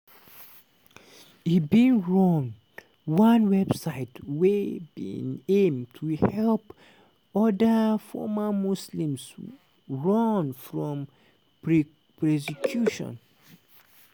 e bin run one website wey bin aim to help oda former muslims run from presecution